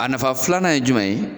A nafa filanan ye jumɛn ye